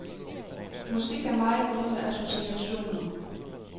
Musik er meget noget med associationer.